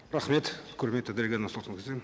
рахмет құрметті дариға нұрсұлтанқызы